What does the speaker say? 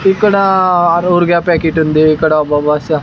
ఇక్కడా ప్యాకెట్ ఉంది ఇక్కడా --